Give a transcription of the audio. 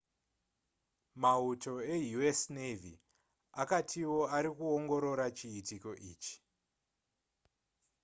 mauto eu.s. navy akatiwo ari kuongorora chiitiko ichi